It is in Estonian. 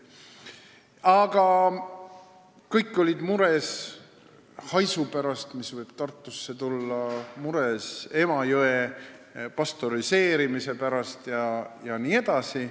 Aga kõik olid mures haisu pärast, mis võib Tartusse tulla, mures Emajõe pastöriseerimise pärast jne.